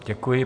Děkuji.